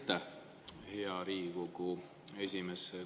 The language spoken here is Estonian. Aitäh, hea Riigikogu esimees!